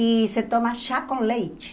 E se toma chá com leite.